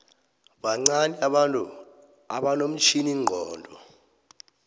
bancani abantu abanomtjhiningcondo